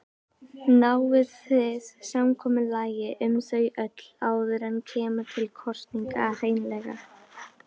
Náið þið samkomulagi um þau öll áður en kemur til kosninga hreinlega?